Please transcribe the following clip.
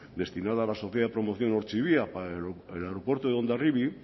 destinada a la sociedad de promoción ortzibia para el aeropuerto de hondarribia